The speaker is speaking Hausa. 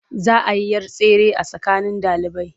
Za a yi 'yar tsere a tsakanin ɗalibai.